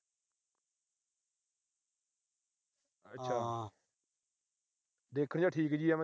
ਦੇਖਣ ਚ ਤਾਂ ਠੀਕ ਜੀ ਆ।